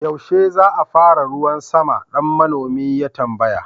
yaushe za a fara ruwan sama? dan manomi ya tambaya